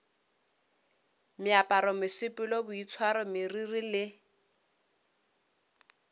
meaparo mesepelo boitshwaro meriri le